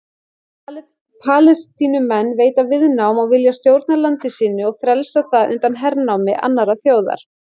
Palestínumenn veita viðnám og vilja stjórna landi sínu og frelsa það undan hernámi annarrar þjóðar.